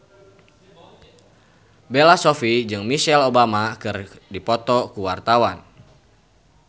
Bella Shofie jeung Michelle Obama keur dipoto ku wartawan